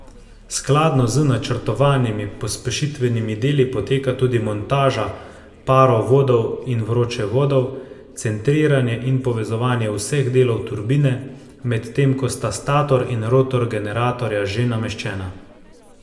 Skladno z načrtovanimi pospešitvenimi deli poteka tudi montaža parovodov in vročevodov, centriranje in povezovanje vseh delov turbine, medtem ko sta stator in rotor generatorja že nameščena.